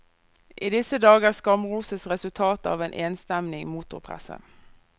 I disse dager skamroses resultatet av en enstemmig motorpresse.